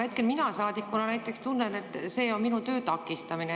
Hetkel mina saadikuna näiteks tunnen, et see on minu töö takistamine.